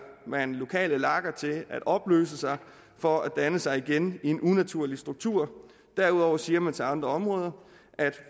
man lokale lager til at opløse sig for at danne sig igen i en unaturlig struktur derudover siger man til andre områder at